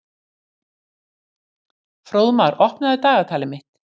Fróðmar, opnaðu dagatalið mitt.